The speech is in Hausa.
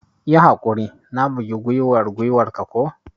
Yi haƙuri, na bugi gwiwar gwiwar ka ko?